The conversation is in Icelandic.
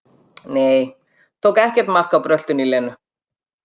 Nei, tók ekkert mark á bröltinu í Lenu.